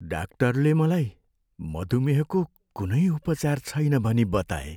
डाक्टरले मलाई मधुमेहको कुनै उपचार छैन भनी बताए।